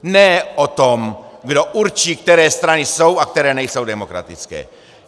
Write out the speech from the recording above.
Ne o tom, kdo určí, které strany jsou a které nejsou demokratické.